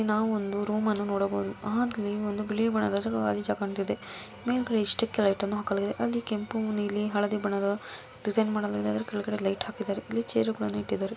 ನಾವು ಒಂದು ರೂಮ್ ಅನ್ನು ನೋಡಬಹುದು ಆಕೆಯೇ ಮಗಳ ಬದಲಾಯಿಸಿ ನೀವು ಎಷ್ಟೇ ಲೋಡ್ ಮಾಡಿಕೊಳ್ಳಿಗು ನೀಲಿ ಹಳದಿ ಬಣ್ಣದ ಡಿಸೈನ್ ಮಾಡಿದ ಕೆಲಸ ಇವರು--